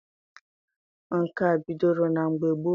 Nka bidoro na mgbe gboo.